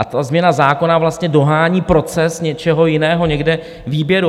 A ta změna zákona vlastně dohání proces něčeho jiného, někde výběru.